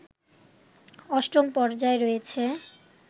অষ্টম পর্যায় রয়েছে